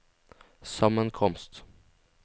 sammenkomst